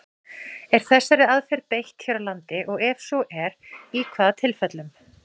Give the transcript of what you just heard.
Er þessari aðferð beitt hér á landi, og ef svo er, í hvaða tilfellum?